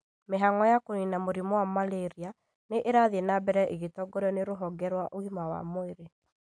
Mĩhang'o ya kũnina mũrimũ wa Malaria nĩ ĩrathiĩ na mbere ĩgĩtongorio nĩ rũhonge rwa ũgima wa mwĩrĩ